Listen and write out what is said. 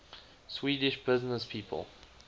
swedish businesspeople